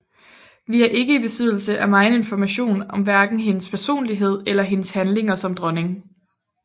Vi er ikke i besiddelse af megen information om hverken hendes personlighed eller hendes handlinger som dronning